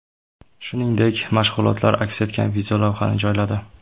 Shuningdek, mashg‘ulotlar aks etgan videolavhani joyladi.